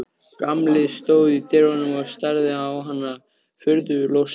Gamli stóð í dyrunum og starði á hana furðu lostinn.